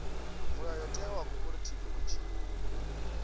mulayotewa wa khophorethivi u tshi